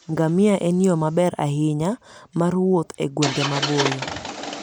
Ngamia en yo maber ahinya mar wuoth e gwenge maboyo.